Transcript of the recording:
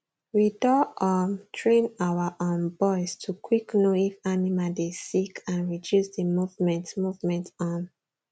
we doh um train our um boys to quick know if animal dey sick and reduce the movement movement um